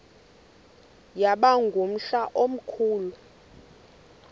yaba ngumhla omkhulu